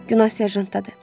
Günah serjantdadır.